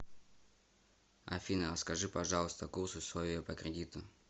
афина расскажи пожалуйста курс условия по кредиту